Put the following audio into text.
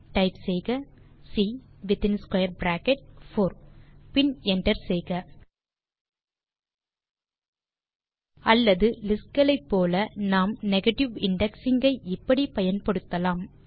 type செய்க c within square bracket 4 பின் enter செய்க அல்லது லிஸ்ட் களைப் போல நாம் நெகேட்டிவ் இண்டெக்ஸிங் ஐ இப்படி பயன்படுத்தலாம்